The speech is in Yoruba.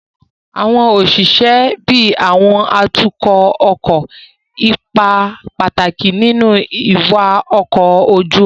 Àwọn òṣìṣẹ́ bíi àwọn atukọ̀ kó ipa pàtàkì nínú wíwa ọkọ̀ ojú omi